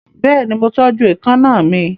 Bẹ́ẹ̀ni, mo tọ́jú èékánná mi.